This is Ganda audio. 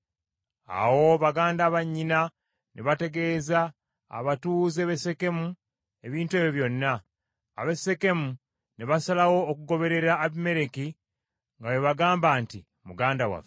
Awo baganda ba nnyina ne bategeeza abatuuze b’e Sekemu ebintu ebyo byonna. Ab’e Sekemu ne basalawo okugoberera Abimereki nga bwe bagamba nti, “Muganda waffe.”